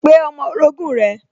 Pe ọmọ orogún rẹ̀